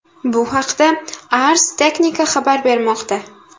Bu haqda Ars Technica xabar bermoqda .